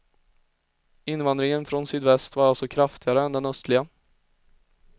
Invandringen från sydväst var alltså kraftigare än den östliga.